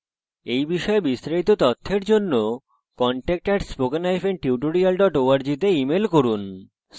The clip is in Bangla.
এই বিষয়ে বিস্তারিত তথ্যের জন্য contact @spokentutorial org তে ইমেল করুন